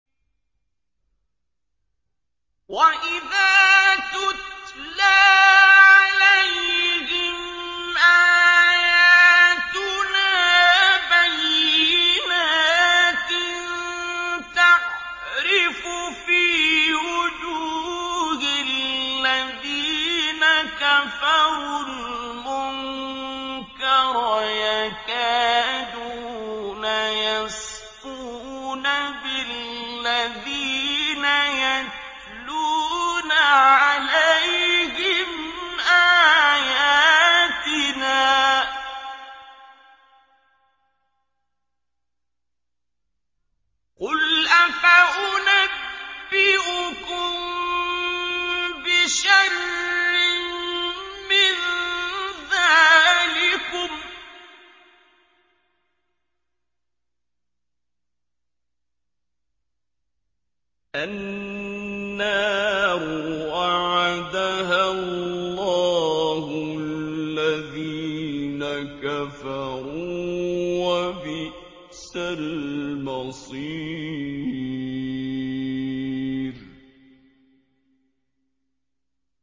وَإِذَا تُتْلَىٰ عَلَيْهِمْ آيَاتُنَا بَيِّنَاتٍ تَعْرِفُ فِي وُجُوهِ الَّذِينَ كَفَرُوا الْمُنكَرَ ۖ يَكَادُونَ يَسْطُونَ بِالَّذِينَ يَتْلُونَ عَلَيْهِمْ آيَاتِنَا ۗ قُلْ أَفَأُنَبِّئُكُم بِشَرٍّ مِّن ذَٰلِكُمُ ۗ النَّارُ وَعَدَهَا اللَّهُ الَّذِينَ كَفَرُوا ۖ وَبِئْسَ الْمَصِيرُ